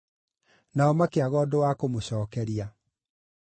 Nao makĩaga ũndũ wa kũmũcookeria.